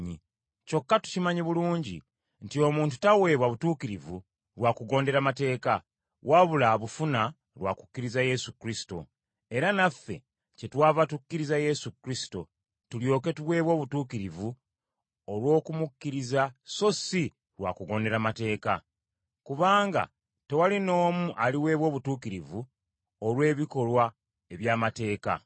Kyokka tukimanyi bulungi nti omuntu taweebwa butuukirivu lwa kugondera mateeka, wabula abufuna lwa kukkiriza Yesu Kristo, era naffe kyetwava tukkiriza Yesu Kristo tulyoke tuweebwe obutuukirivu olw’okumukkiriza so si lwa kugondera mateeka. Kubanga tewali n’omu aliweebwa obutuukirivu olw’ebikolwa eby’amateeka.